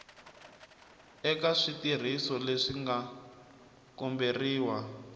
eka switirhiso leswi nga komberiwa